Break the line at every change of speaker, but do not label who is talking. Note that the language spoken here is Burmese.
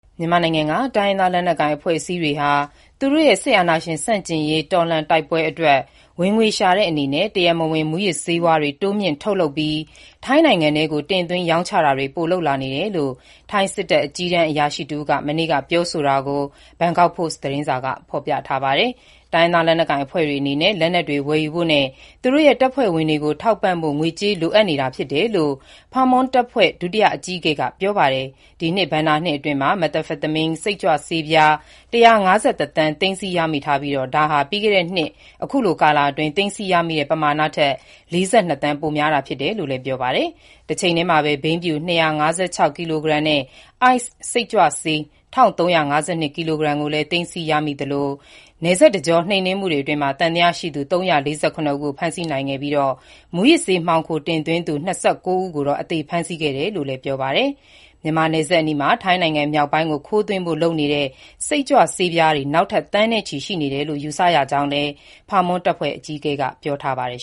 မြန်မာနိုင်ငံက တိုင်းရင်းသား လက်နက်ကိုင် အဖွဲ့အစည်းတွေဟာ သူတို့ရဲ့ စစ်အာဏာရှင် ဆန့်ကျင်ရေး တော်လှန်တိုက်ပွဲအတွက် ဝင်ငွေရှာတဲ့အနေနဲ့ တရားမဝင် မူးယစ်ဆေးဝါးတွေ တိုးမြှင့် ထုတ်လုပ်ပြီး ထိုင်းနိုင်ငံထဲကို တင်သွင်း ရောင်းချတာတွေ ပိုလုပ်လာနေတယ်လို့ ထိုင်းစစ်တပ် အကြီးတန်း အရာရှိတဦးက မနေ့က ပြောဆိုတာကို ဘန်ကောက်ပို့စ် သတင်းစာက ဖော်ပြပါတယ်။ တိုင်းရင်းသား လက်နက်ကိုင်အဖွဲ့တွေအနေနဲ့ လက်နက်တွေ ဝယ်ယူဖို့နဲ့ သူတို့ရဲ့ တပ်ဖွဲ့ဝင်တွေကို ထောက်ပံ့ဖို့ ငွေကြေး လိုအပ်နေတာ ဖြစ်တယ်လို့ Pha Muang တပ်ဖွဲ့ ဒုတိယ အကြီးအကဲ၊ ဗိုလ်မှူးကြီး Meechai Nillasart က ပြောပါတယ်။ ဒီနှစ် ဘဏ္ဍာနှစ်အတွင်း Methamphetamine(မက်သမ်ဖက်တာမင်း) စိတ်ကြွဆေးပြား ၁၅၁ သန်း သိမ်းဆည်းရ မိထားပြီး ဒါဟာ ပြီးခဲ့တဲ့နှစ် အခုလိုကာလအတွင်း သိမ်းဆည်းရမိတဲ့ ပမာဏထက် ၄၂ သန်း ပိုများလာတာ ဖြစ်တယ်လို့ Pha Muang တပ်ဖွဲ့က ပြောပါတယ်။ တချိန်တည်းမှာပဲ ဘိန်းဖြူ ၂၅၆ ကီလိုဂရမ်နဲ့ ice စိတ်ကြွဆေး ၁၃၅၂ ကီလိုဂရမ်ကိုလည်း သိမ်းဆည်းရမိသလို၊ ဒီလို နယ်စပ်တကြော နှိမ်နင်းမှုတွေအတွင်း သံသယရှိသူ ၃၄၇ ဦးကို ဖမ်းဆီး နိုင်ခဲ့ပြီး မူးယစ်ဆေး မှောင်ခိုတင်သွင်းသူ ၂၉ ဦးကိုတော့ အသေဖမ်းဆီး ခဲ့တယ်လို့လည်း ပြောပါတယ်။ မြန်မာနယ်စပ်အနီးမှာ ထိုင်းနိုင်ငံမြောက်ပိုင်းကို ခိုးသွင်းဖို့ လုပ်နေတဲ့ စိတ်ကြွဆေးပြားတွေ နောက်ထပ် သန်းနဲ့ချီ ရှိနေသေးတယ်လို့ ယူဆရကြောင်းလည်း ဗိုလ်မှူးကြီး Meechai က ပြောပါတယ်